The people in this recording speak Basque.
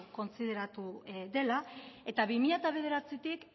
kontsideratu dela eta bi mila bederatzitik